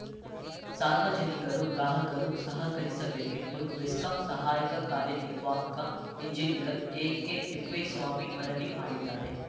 ಸಾರ್ವಜನಿಕರು ಗ್ರಾಹಕರು ಸಹಕರಿಸಬೇಕೆಂದು ಬೆಸ್ಕಾಂ ಸಹಾಯಕ ಕಾರ್ಯ ನಿರ್ವಾಹಕ ಇಂಜಿನಿಯರ್‌ ಎಕೆತಿಪ್ಪೇಸ್ವಾಮಿ ಮನವಿ ಮಾಡಿದ್ದಾರೆ